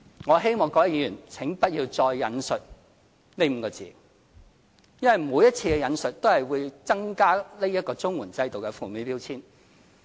我希望各位議員請不要再引述這5個字，因為每次引述都會增加綜援制度的負面標籤。